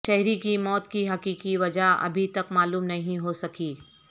شہری کی موت کی حقیقی وجہ ابھی تک معلوم نہیں ہو سکی